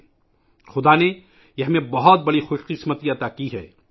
ایشور نے ہمارے لئے بہت بڑی خوش قسمتی رکھی ہے